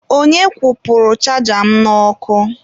Onye kwụpụrụ chaja m n'ọkụ?